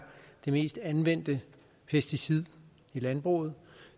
det mest anvendte pesticid i landbruget